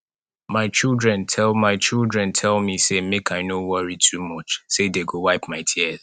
my children tell my children tell me say make i no worry too much say dey go wipe my tears